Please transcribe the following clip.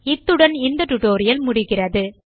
இத்துடன் இந்த டியூட்டோரியல் முடிகிறது